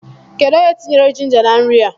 Kedụ onye tinyere jinja na nri a?